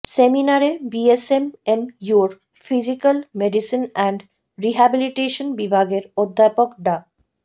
সেমিনারে বিএসএমএমইউর physical medicine and rehabilitation বিভাগের অধ্যাপক ডা